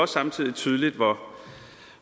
samtidig tydeligt